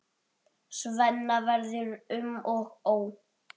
Svenna verður um og ó.